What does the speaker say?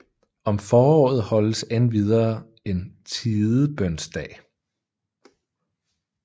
Om foråret holdes endvidere en Tidebønsdag